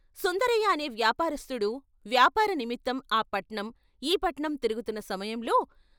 సుందరయ్య అనే వ్యాపారస్తుడు వ్యాపార నిమిత్తం ఆ పట్నం, ఈ పట్నం తిరుగుతున్న సమయంలో